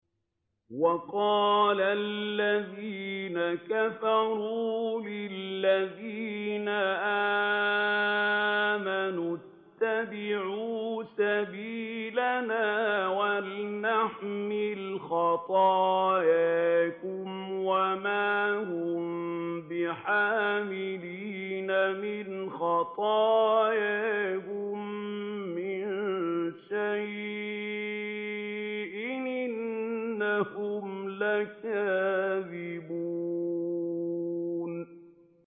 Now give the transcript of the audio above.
وَقَالَ الَّذِينَ كَفَرُوا لِلَّذِينَ آمَنُوا اتَّبِعُوا سَبِيلَنَا وَلْنَحْمِلْ خَطَايَاكُمْ وَمَا هُم بِحَامِلِينَ مِنْ خَطَايَاهُم مِّن شَيْءٍ ۖ إِنَّهُمْ لَكَاذِبُونَ